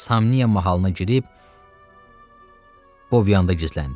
Samniya mahalına girib Boviyanda gizləndi.